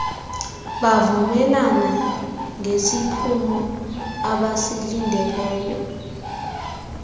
bavumelana ngesiphumo abasilindeleyo